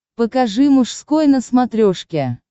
покажи мужской на смотрешке